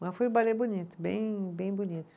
Mas foi um balé bonito, bem bem bonito.